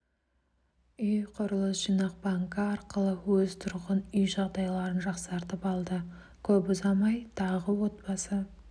үй құрылыс жинақ банкі арқылы өз тұрғын үй жағдайларын жақсартып алды көп ұзамай тағы отбасы